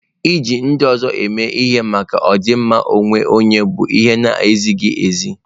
Iji ndị ọzọ eme ihe maka ọdịmma onwe onye bụ ihe na-ezighị ezi.